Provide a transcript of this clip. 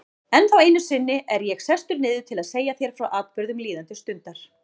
Ennþá einu sinni er ég sestur niður til að segja þér frá atburðum líðandi stundar.